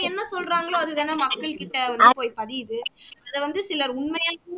என்ன சொல்றாங்கலோ அது தானே மக்கள் கிட்ட வந்து போய் பதியுது இது வந்து சிலர் உண்மைன்னு